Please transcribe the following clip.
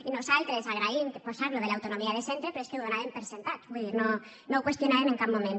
i nosaltres agraïm posar allò de l’autonomia de centre però és que ho donàvem per fet vull dir no ho qüestionàvem en cap moment